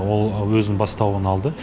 ол өзінің бастауын алды